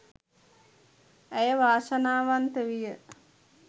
ඇය වාසනාවන්ත විය